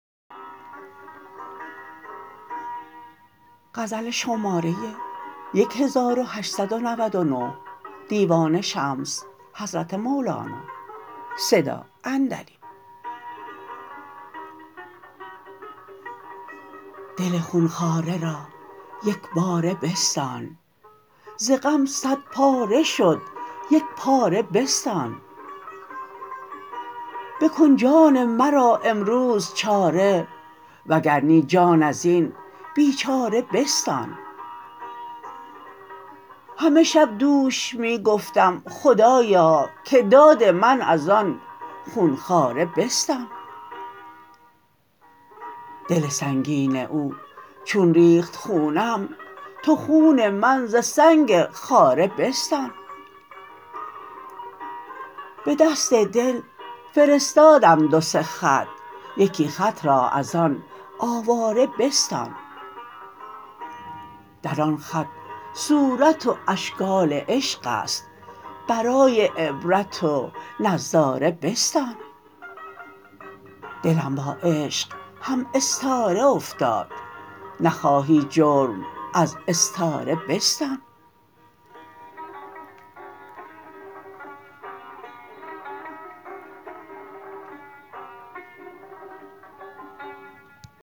دل خون خواره را یک باره بستان ز غم صدپاره شد یک پاره بستان بکن جان مرا امروز چاره وگر نی جان از این بیچاره بستان همه شب دوش می گفتم خدایا که داد من از آن خون خواره بستان دل سنگین او چون ریخت خونم تو خون من ز سنگ خاره بستان به دست دل فرستادم دو سه خط یکی خط را از آن آواره بستان در آن خط صورت و اشکال عشق است برای عبرت و نظاره بستان دلم با عشق هم استاره افتاد نخواهی جرم از استاره بستان